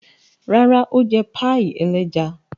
Rárá, ó jẹ páíì ẹlẹ́ja.